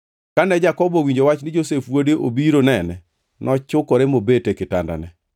Kane Jakobo owinjo wach ni Josef wuode obiro nene, nochukore mobet e kitandane.